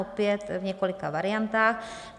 Opět v několika variantách.